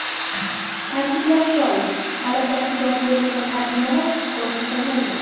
Ta’kidlash joiz, talablarga javob bermagan tarjimalar ko‘rib chiqilmaydi.